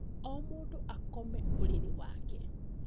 Omũndũ akome ũrĩrĩ wake